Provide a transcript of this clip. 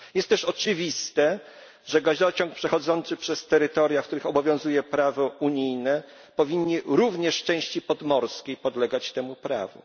Jest też oczywiste, że gazociąg przechodzący przez terytoria, na których obowiązuje prawo unijne, powinien również w części podmorskiej podlegać temu prawu.